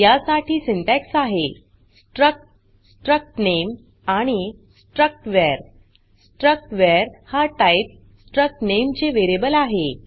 या साठी सिंटॅक्स आहे स्ट्रक्ट struct name आणि struct var struct var हा टाइप struc name चे वेरीयेबल आहे